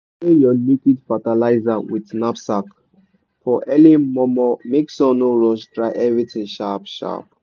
spray your liquid fertilizer with knapsack for early momo make sun no rush dry everything sharp sharp.